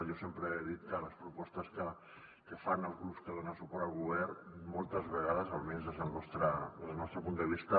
jo sempre he dit que les propostes que fan els grups que donen suport al govern moltes vegades almenys des del nostre punt de vista